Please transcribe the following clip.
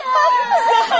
Zaharoviç!